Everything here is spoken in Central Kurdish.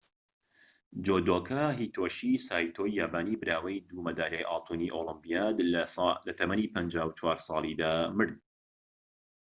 جودۆکا هیتۆشی سایتۆی یابانی براوەی دوو مەدالیای ئاڵتوونی ئۆلۆمیپیاد لە تەمەنی ٥٤ ساڵیدا مرد